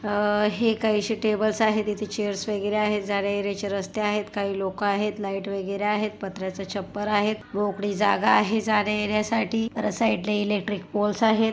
अ हे काहिशे टेबल्स आहेत इथे चेअर्स वगैरे आहेत जाण्यायेण्याची रस्ते आहेत काही लोक आहेत लाइट वगैरे आहेत पत्र्याच छप्पर आहेत मोकळी जागा आहे जाण्यायेण्यासाठी र साइडला इलेक्ट्रिक पोल्स आहेत.